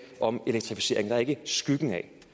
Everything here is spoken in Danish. om elektrificeringen er ikke skyggen af